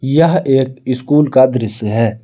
यह एक स्कूल का दृश्य है।